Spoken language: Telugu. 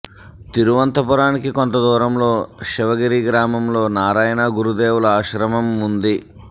తిరువంతపురానికి కొంత దూరంలో శివగిరి గ్రామంలో నారాయణ గురుదేవుల ఆశ్రమం ఉంది